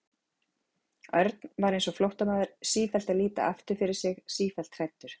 Örn var eins og flóttamaður, sífellt að líta aftur fyrir sig, sífellt hræddur.